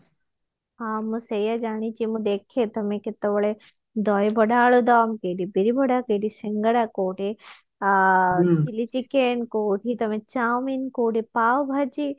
ହଁ ମୁଁ ସେଇଆ ଜାଣିଛି ମୁଁ ଦେଖେ ତୁମେ କେତେବେଳେ ଦହିବରା ଆଳୁଦମ୍ କେଇଠି ବିରିବଡା କେଇଠି ସିଙ୍ଗଡା କୋଉଠି ଆ chili chicken କୋଉଠି ତମେ ଚାଓମିନ କୋଉଠି ପାଓଭାଜି